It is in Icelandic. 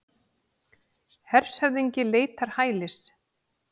Hershöfðingi leitar hælis